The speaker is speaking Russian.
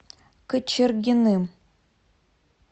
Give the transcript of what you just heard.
кочергиным